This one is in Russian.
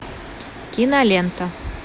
кинолента